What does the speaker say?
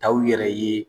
Taw yɛrɛ ye